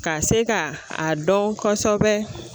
Ka se ka a dɔn kosɛbɛ